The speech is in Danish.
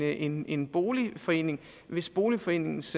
en en boligforening hvis boligforeningens